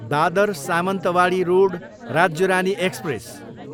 Dadar Sawantwadi road Rajya Rani express